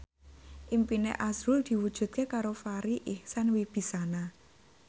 impine azrul diwujudke karo Farri Icksan Wibisana